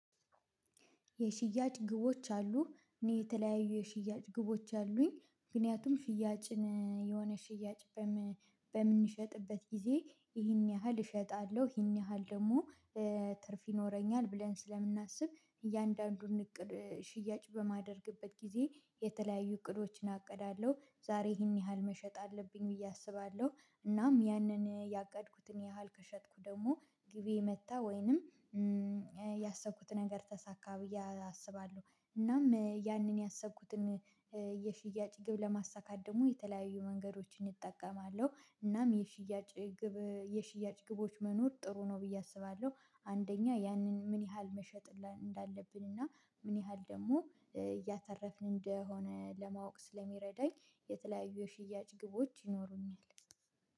የሽያጭ ግቦች አሉ እኔ የተለያዩ የሽያጭ ግቦች አሉኝ ምክንያቱም ሽያጭን የሆነ ሽያጭ በምንሸጥበት ጊዜ ይህን ያህል እሸጣለሁ ይህን ያህል ደግሞ ብለን ስለምናስብ እያንዳንዱን ሽያጭ በማደርግበት ጊዜ እቅዶችን አቅዳለሁ ዛሬ ይህን ያህል መሸጥ አለብኝ ብዬ አስባለሁ እናም ያንን ያቀድኩትን ያህል ከሸጥኩ ደግሞ ግቤ መታ ወይንም ያሰብኩት ነገር ተሳካ ብዬ አስባለሁ እናም ያንን ያሰብኩትን የሽያጭ ግብ ለማሳካት ደግሞ የተለያዩ መንገዶችን እጠቀማለሁ። እናም የሽያጭ ግቦች መኖር ጥሩ ነው ብዬ አስባለሁ። አንደኛ ያንን ምን ያህል መሸጥ እንዳለብን እና ምን ያህል ደግሞ እያተረፍን እንደሆነ ለማወቅ ስለሚረዳኝ የተለያዩ የሽያጭ ግቦች ይኖሩኛል